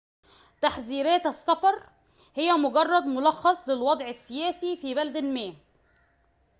تحذيرات السفر هي مجرد ملخصٍ للوضعِ السياسيِّ في بلد ما